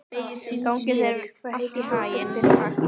Gangi þér allt í haginn, Kaktus.